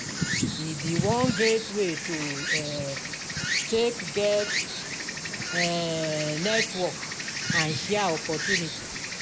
e bi one great way to um take get um network and share opportunity